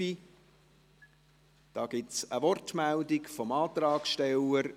Es gibt eine Wortmeldung seitens des Antragsstellers.